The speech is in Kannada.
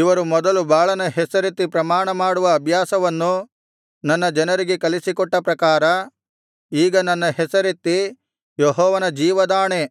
ಇವರು ಮೊದಲು ಬಾಳನ ಹೆಸರೆತ್ತಿ ಪ್ರಮಾಣಮಾಡುವ ಅಭ್ಯಾಸವನ್ನು ನನ್ನ ಜನರಿಗೆ ಕಲಿಸಿಕೊಟ್ಟ ಪ್ರಕಾರ ಈಗ ನನ್ನ ಹೆಸರನ್ನೆತ್ತಿ ಯೆಹೋವನ ಜೀವದಾಣೆ